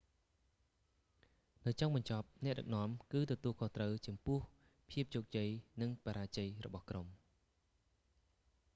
នៅចុងបញ្ចប់ អ្នកដឹកនាំគឺទទួលខុសត្រូវចំពោះភាពជោគជ័យ និងបរាជ័យរបស់ក្រុម